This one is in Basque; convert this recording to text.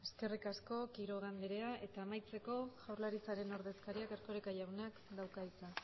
eskerrik asko quiroga andrea eta amaitzeko jaurlaritzaren ordezkariak erkoreka jaunak dauka hitza